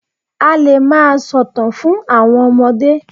A lè máa sòtàn fún àwọn ọmọde.